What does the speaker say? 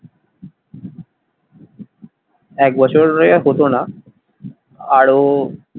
একবছরে হতো না, আরো,